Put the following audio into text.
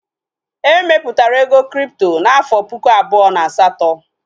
E mepụtara ego kripto n'afọ puku abụọ na asatọ